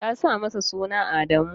ta sa mishi suna Adamu.